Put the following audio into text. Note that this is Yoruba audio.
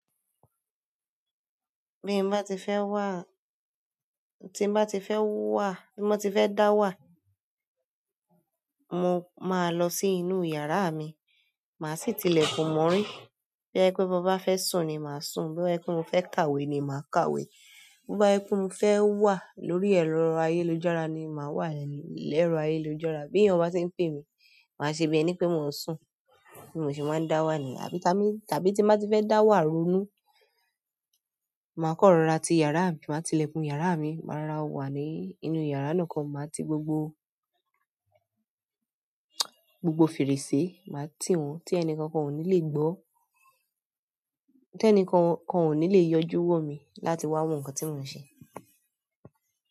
Bí mo bá ti fẹ́ wà, tí mo bá ti fẹ́ wà, tí mo ti fẹ́ dá wà, mo máa lọ sí inú yàrá mi. Màá sì tilẹ̀kùn mọ́rí. Bojẹ pe mo bá fẹ́ sùn ni màá sùn. Bo jẹ pe mo fẹ́ kàwé ni màá kàwé. Bo bá jẹ pe mo fẹ́ wà lórí ẹ̀rọ ayélujára ni màá wà lórí ẹ̀rọ ayélujára. Bí ènìyàn bá tí ń pè mí, màá ṣe bí ẹni pé mò ń sùn. Bí mò ṣe máa ń dá wà niyn, àbí tà lo, tàbí tí mo bá ti fẹ́ dá wà ronú, màá kan rọ́ra ti yàrá mi, màá tilẹ̀kùn yàrá mi. Màá rora wà ní inú yàrá nìkan máa ti gbogbo, gbogbo fèrèsé, màá tì wọ́n tí ẹni kankan ò ní le gbọ́. Tẹ́nìkankan ò ní le yọjú wò mí láti wá wọ̀n nǹkan tí mò ń se.